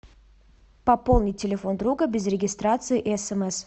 пополнить телефон друга без регистрации и смс